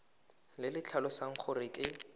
le le tlhalosang gore ke